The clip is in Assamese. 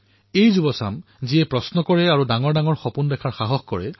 এই যুৱসমাজেই প্ৰশ্ন সুধিবলৈ আৰু ডাঙৰ সপোন দেখাৰ সাহস কৰিছে